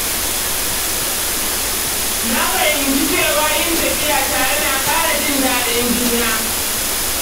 Na fahimci cewa yin tafiya tare na ƙara jin daɗin juna.